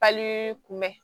Pali kunbɛn